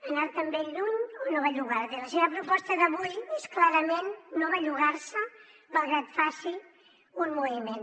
anar te’n ben lluny o no bellugar te i la seva proposta d’avui és clarament no bellugar se malgrat que faci un moviment